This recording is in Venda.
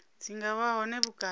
dzi nga vha hone vhukati